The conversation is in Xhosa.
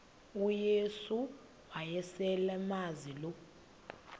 uyesu wayeselemazi lo